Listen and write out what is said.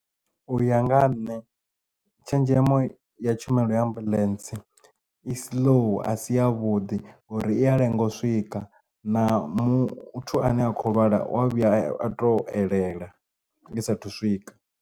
Uya nga ha nṋe tshenzhemo ya tshumelo ya ambuḽentse i slow a si ya vhuḓi ngauri i ya lenga u swika na muthu ane a kho lwala u wa vhuya a to elela i sathu swika.